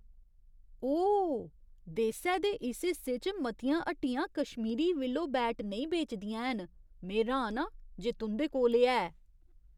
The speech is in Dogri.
ओह् ! देसै दे इस हिस्से च मतियां हट्टियां कश्मीरी विलो बैट नेईं बेचदियां हैन। में र्‌हान आं जे तुं'दे कोल एह् है।